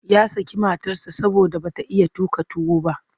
Ya saki matarsa saboda ba ta iya tuƙa tuwo ba.